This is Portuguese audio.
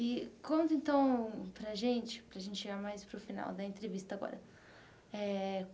E conta então para gente, para gente chegar mais para o final da entrevista agora eh.